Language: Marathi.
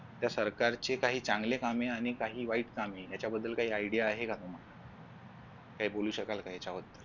त्या सरकारची काही चांगली कामे आणि काही वाईट कामे याच्या बद्दल काही आयडीया आहे का तुम्हाला? काही बोलू शकाल का याच्या बद्दल?